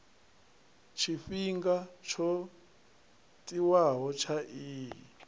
tshifhinga tsho tiwaho tsha iyi